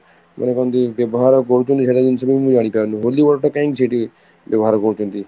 ମାନେ କହନ୍ତି ବ୍ୟବହାର କରୁଛନ୍ତି ସେଇଟା ଜିନିଷ କୁ ବି ମୁଁ ଜାଣିପାରୁନି holy water କାହିଁକି ସେଠି ବ୍ୟବହାର କରୁଛନ୍ତି?